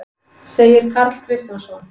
segir Karl Kristjánsson.